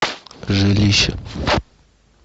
жилище